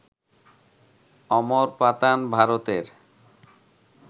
অমরপাতান, ভারতের